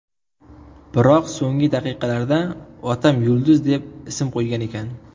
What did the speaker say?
Biroq so‘nggi daqiqalarda otam Yulduz deb ism qo‘ygan ekan”.